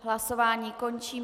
Hlasování končím.